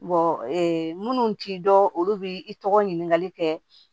minnu t'i dɔn olu bi i tɔgɔ ɲinikali kɛ